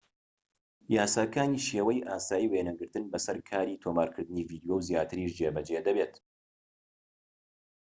یاساکانی شێوەی ئاسایی وێنەگرتن بە سەر کاری تۆمارکردنی ڤیدیۆ و زیاتریش جێبەجێ دەبێت